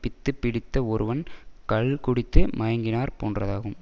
பித்து பிடித்த ஒருவன் கள்குடித்து மயங்கினார் போன்றதாகும்